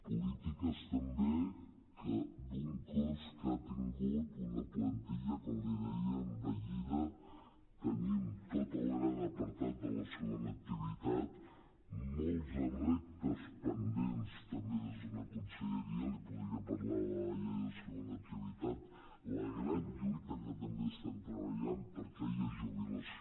polítiques també d’un cos que ha tingut una plantilla com li deia envellida tenim tot el gran apartat de la segona activitat molts reptes pendents també des d’una conselleria li podria parlar de la llei de segona activitat la gran lluita que també estem treballant per aquella jubilació